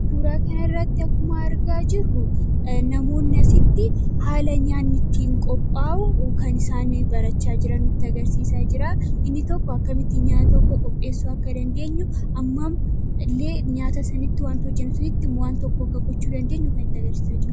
Suuraa kana irratti akkuma argaa jirru, namoonni asitti haala nyaanni ittiin qophaa'u kan isaan barachaa jiran nutti agarsiisaa jira. Inni tokko akkamittiin nyaata akka qopheessuu dandeenyu, hammam illee nyaata isinitti himu hojjechuu akka dandeenyu kan itti agarsiisaa jirudha.